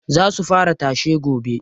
Za su fara tashe gobe.